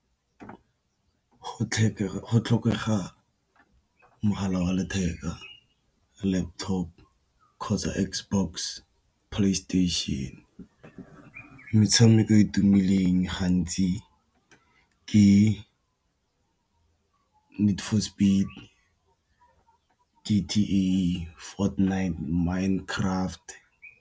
Go tlhokega mogala wa letheka, laptop kgotsa Xbox, PlayStation. Metshameko e e tumileng ga ntsi ke Need for Speed, ke , Fortnight, Minecraft.